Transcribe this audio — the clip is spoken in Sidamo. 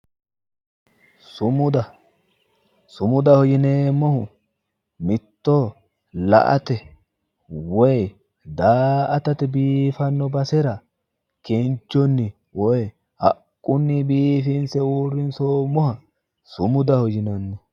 Sumuda, sumudaho yineemmohu, mittoho la"ate woy da"aatate biifanno basera kinchunni woy haqqunni biiffinse uurrinsoommoha sumudaho yinanni.